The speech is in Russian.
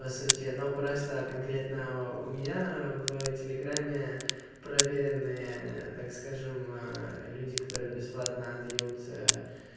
по сути но просто конкретно у меня в телеграме проверенные так скажем люди которые бесплатно дают